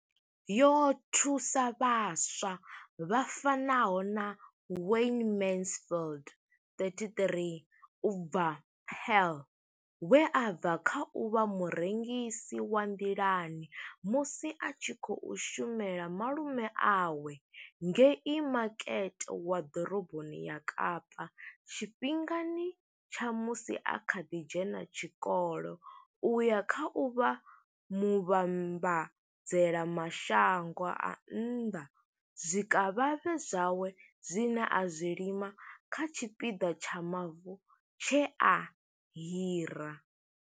Yo thusa vhaswa vha fanaho na Wayne Mansfield 33 u bva Paarl, we a bva kha u vha murengisi wa nḓilani musi a tshi khou shumela malume awe ngei makete wa ḓoroboni ya Kapa tshifhingani tsha musi a kha ḓi dzhena tshikolo u ya kha u vha muvhambadzela mashango a nnḓa zwikavhavhe zwawe zwine a zwi lima kha tshipiḓa tsha mavu tshe a hira.